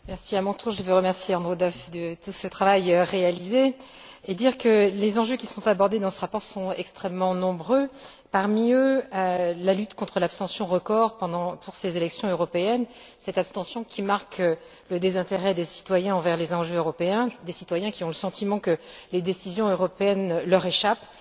Monsieur le Président, je tiens à remercier Andrew Duff de ce travail réalisé et à dire que les enjeux qui sont abordés dans ce rapport sont extrêmement nombreux. Parmi eux, la lutte contre l'abstention record pour ces élections européennes cette abstention qui marque le désintérêt des citoyens envers les enjeux européens, du fait que ceux ci ont le sentiment que les décisions européennes leur échappent.